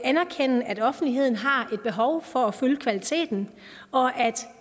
anerkende at offentligheden har et behov for at følge kvaliteten og at